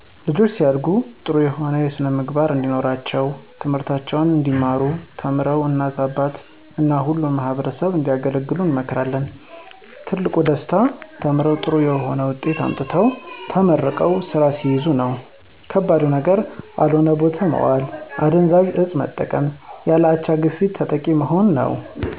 ልጆች ሲያድጉ ጥሩ የሆነ ስነምግባር እንድኖራቸው ትምህርታቸውን እንዲማሩ ተምረው እናት አባት እና ሁሉንም ማህበረሰብ እንዲያገለግሉ እመክራለሁ። ትልቁ ደስታ ተምረው ጥሩ የሆነ ዉጤት አምጥተው ተመርቀው ሰራ ሲይዙ ነው። ከባድ ነገር አልሆነ ቦታ መዋል አደንዛዥ እፅ መጠቀም ያለ አቻ ግፊት ተጠቂ መሆን ነዉ።